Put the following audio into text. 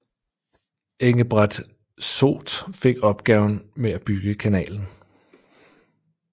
Engebret Soot fik opgaven med at bygge kanalen